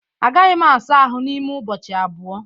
Agaghị m asa ahụ n'ime ụbọchị abụọ